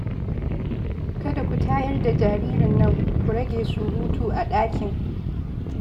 Kada ku tayar da jaririn nan, ku rage surutu a ɗakin